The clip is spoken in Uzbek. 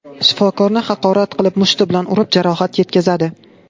shifokorni haqorat qilib, mushti bilan urib, jarohat yetkazadi.